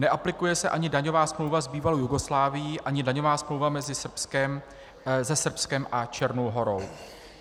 Neaplikuje se ani daňová smlouva s bývalou Jugoslávií ani daňová smlouva se Srbskem a Černou Horou.